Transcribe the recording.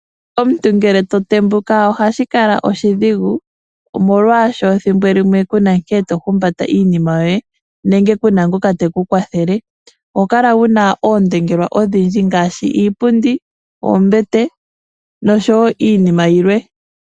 Omuntu ngele to tembuka oha shi kala oshidhigu, molwasho thimbo limwe, ku na nkene to humbata iinima yoye nenge kuna ngoka te ku kwathele. Oho kala wu na oondongelwa odhindji ngaashi iipundi, oombete nosho woo iinima yilwe.